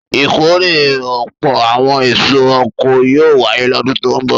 Ìkórè ọ̀pọ̀ àwọn èso oko yóò wáyé lọ́dún tó ń bọ̀.